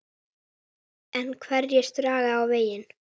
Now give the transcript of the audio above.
En hverjir draga þá vagninn?